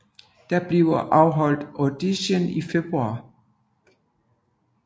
Der blev afholdt auditions i februar